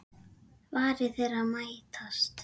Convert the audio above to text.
Varir þeirra mætast.